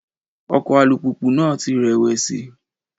Ọkọ̀ alùpùpù náà ti rẹ̀wẹ̀sì.